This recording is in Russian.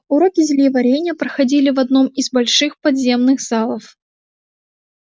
уроки зельеварения проходили в одном из больших подземных залов